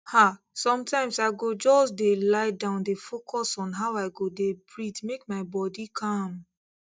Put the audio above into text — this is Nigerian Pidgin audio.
ah sometimes i go just dey lie down dey focus on how i go dey breathe make my body calm